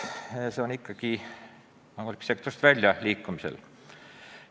See on ikka sektorist välja liikumisel.